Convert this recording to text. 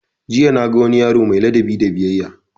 Jiya na ga wani yaro mai ladabi da biyayya